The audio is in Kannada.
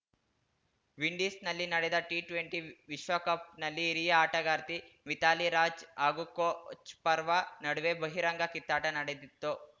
ವಿಂಡೀಸ್‌ನಲ್ಲಿ ನಡೆದ ಟಿಟ್ವೆಂಟಿ ವಿಶ್ವಕಪ್‌ನಲ್ಲಿ ಹಿರಿಯ ಆಟಗಾರ್ತಿ ಮಿಥಾಲಿ ರಾಜ್‌ ಹಾಗೂ ಕೋಚ್‌ ಪರ್ವಾ ನಡುವೆ ಬಹಿರಂಗ ಕಿತ್ತಾಟ ನಡೆದಿತ್ತು